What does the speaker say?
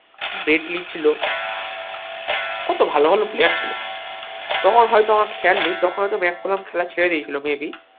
Brett Lee ছিল কত ভালো ভালো player ছিল তখন হয়তো আমার খেয়াল নেই তখন হয়তো ম্যাকালাম খেলা ছেড়ে দিয়ে ছিল maybe